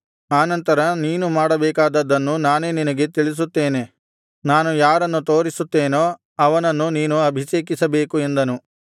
ಆ ನಂತರ ನೀನು ಮಾಡಬೇಕಾದದ್ದನ್ನು ನಾನೇ ನಿನಗೆ ತಿಳಿಸುತ್ತೇನೆ ನಾನು ಯಾರನ್ನು ತೋರಿಸುತ್ತೇನೋ ಅವನನ್ನು ನೀನು ಅಭಿಷೇಕಿಸಬೇಕು ಎಂದನು